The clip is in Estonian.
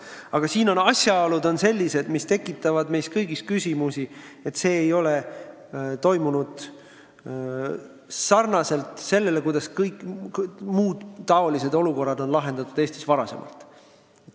Aga konkreetsel juhul on asjaolud sellised, mis tekitavad meis kõigis küsimusi, sest asjad ei ole toimunud nii, nagu muud säärased olukorrad on Eestis varem lahendatud.